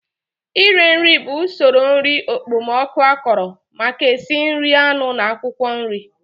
Ire nri bụ usoro nri okpomọkụ akọrọ maka esi nri anụ na akwụkwọ nri